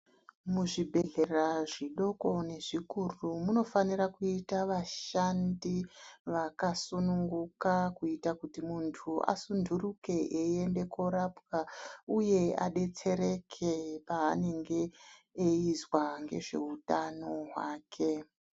Muzvibhedhlera zvidoko nezvikuru munofanira kuita vashandi vakasununguka kuitira kuti muntu asunduruke eienda korapwa uye adetsereke paanenge eizwa ngezveutano hwake.